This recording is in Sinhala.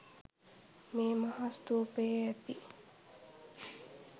මේ මහා ස්තූපයේ ඇති